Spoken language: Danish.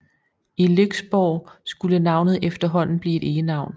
I Lyksborg skulle navnet efterhånden blive et egenavn